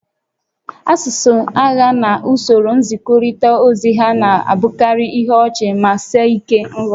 Asụsụ agha na usoro nzikọrịta ozi ha na-abụkarị ihe ọchị ma sie ike nghọta